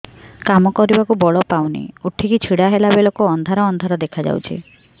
କାମ କରିବାକୁ ବଳ ପାଉନି ଉଠିକି ଛିଡା ହେଲା ବେଳକୁ ଅନ୍ଧାର ଅନ୍ଧାର ଦେଖା ଯାଉଛି